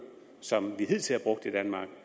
som vi hidtil har brugt i danmark